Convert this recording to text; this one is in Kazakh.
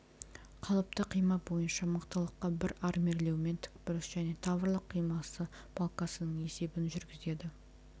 қалыпты қима бойынша мықтылыққа бір армирлеумен тікбұрыш және таврлық қимасы балкасының есебін жүргізеді